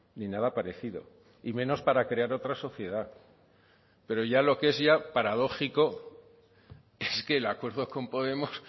ni nada parecido y menos para crear otra sociedad pero ya lo que es ya paradójico es que el acuerdo con podemos